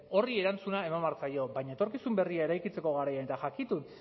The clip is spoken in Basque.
horri erantzuna eman behar zaio baina etorkizun berria eraikitzeko garaian eta jakitun